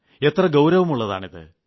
എത്ര ഗൌരവമുളളതാണിത്